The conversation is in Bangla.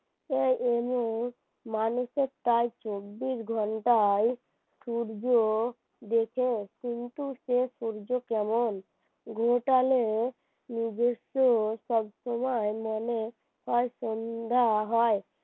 প্রায় চব্বিশ ঘন্টায় সূর্য দেখে কিন্তু সে সূর্য কেমন গোটালে নিজের চেয়েও সব সময় মনে হয় সন্ধ্যা হয়